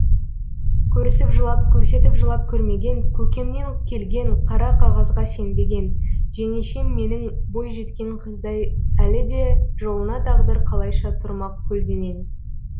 көрісіп жылап көрсетіп жылап көрмеген көкемнен келген қара қағазға сенбеген жеңешем менің бойжеткен қыздай әлі де жолына тағдыр қалайша тұрмақ көлденең